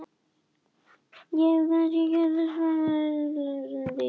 Ég hef kannski gert suma slæma hluti en er ég eitthvað dýr?